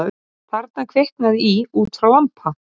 Þarna kviknaði í út frá lampa